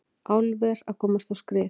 Álver að komast á skrið